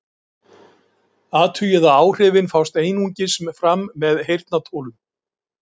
Athugið að áhrifin fást einungis fram með heyrnartólum.